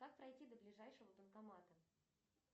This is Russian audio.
как пройти до ближайшего банкомата